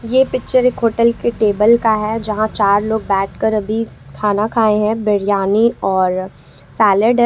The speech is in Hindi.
ये पिक्चर एक होटल के टेबल का है यहां चार लोग बैठकर अभी खाना खाए हैं बिरयानी और सॉलिड है।